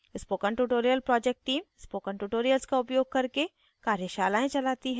spoken tutorial project team spoken tutorials का उपयोग करके कार्यशालाएं चलाती है